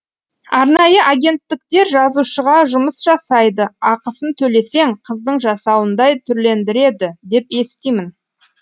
арнайы агенттіктер жазушыға жұмыс жасайды ақысын төлесең қыздың жасауындай түрлендіреді деп естимін